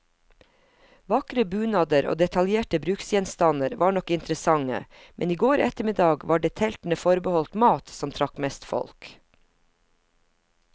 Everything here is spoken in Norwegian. Vakre bunader og detaljerte bruksgjenstander var nok interessante, men i går ettermiddag var det teltene forbeholdt mat, som trakk mest folk.